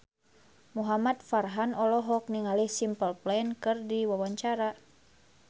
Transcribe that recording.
Muhamad Farhan olohok ningali Simple Plan keur diwawancara